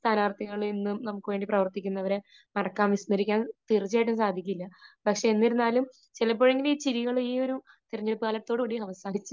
സ്ഥാനാർഥികളെ, എന്നും നമുക്ക് വേണ്ടി പ്രവർത്തിക്കുന്നവരെ മറക്കാൻ, വിസ്മരിക്കാൻ തീർച്ചയായിട്ടും സാധിക്കില്ല. പക്ഷേ എന്നിരുന്നാലും ചിലപ്പോഴെങ്കിലും ഈ ചിരികൾ ഈ ഒരു തെരഞ്ഞെടുപ്പ് കാലത്തോടുകൂടി അവസാനിച്ച്